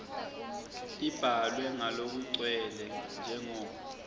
tibhalwe ngalokugcwele njengoba